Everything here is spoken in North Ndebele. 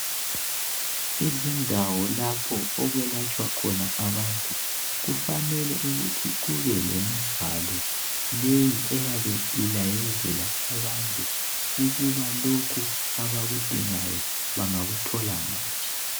Izindawo lapho okulatshwa khona abantu kufanele ukuthi kubelembhalo leyi eyabe ilayezela abantu ukuba lokhu abakudingayo bangakuthola ngaphi.